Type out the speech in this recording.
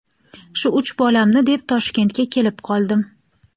Shu uch bolamni deb Toshkentga kelib qoldim.